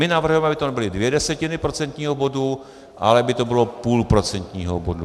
My navrhujeme, aby to nebyly dvě desetiny procentního bodu, ale aby to bylo půl procentního bodu.